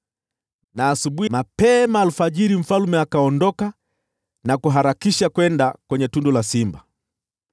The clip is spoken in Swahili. Asubuhi na mapema, mfalme akaondoka na kuharakisha kwenda kwenye tundu la simba.